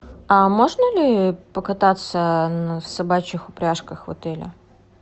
а можно ли покататься на собачьих упряжках в отеле